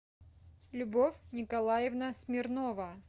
любовь николаевна смирнова